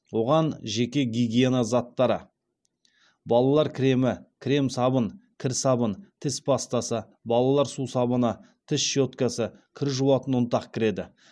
оған жеке гигиена заттары балалар кремі крем сабын кір сабын тіс пастасы балалар сусабыны тіс щеткасы кір жуатын ұнтақ кіреді